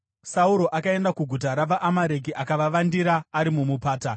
Sauro akaenda kuguta ravaAmareki akavavandira ari mumupata.